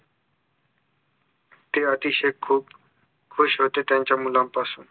ते अतिशय खूप खुश होते त्यांच्या मुलांपासून